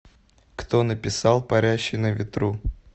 кто написал парящий на ветру